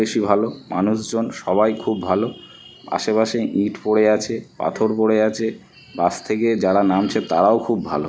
বেশি ভালো। মানুষজন সবাই খুব ভালো। আশেপাশে ইট পড়ে আছে পাথর পড়ে আছে। বাস থেকে যারা নামছে তারাও খুব ভালো।